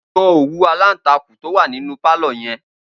Gbo̩n òwú-aláǹtakùn tó wà nínú pálò̩ ye̩n!